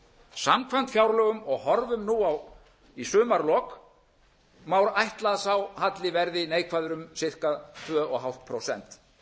samkvæmt fjárlögum horfum nú á í sumarlok má ætla að sá halli verði neikvæður um ca tvö og hálft prósent